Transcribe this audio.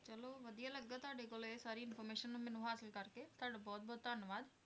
ਬਹੁਤ ਵਧੀਆ ਲੱਗਾ ਤੁਹਾਡੇ ਕੋਲੋਂ ਇਹ ਸਾਰੀ information ਮੈਨੂੰ ਹਾਸਿਲ ਕਰਕੇ, ਤੁਹਾਡਾ ਬਹੁਤ ਬਹੁਤ ਧੰਨਵਾਦ।